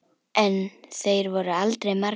En þeir voru aldrei margir.